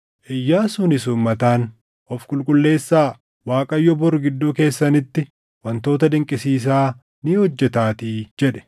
Iyyaasuunis uummataan, “Of qulqulleessaa; Waaqayyo bor gidduu keessanitti wantoota dinqisiisaa ni hojjetaatii” jedhe.